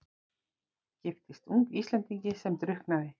Giftist ung Íslendingi sem drukknaði.